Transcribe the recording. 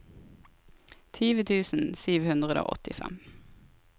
tjue tusen sju hundre og åttifem